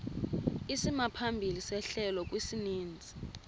isimaphambili sehlelo kwisininzi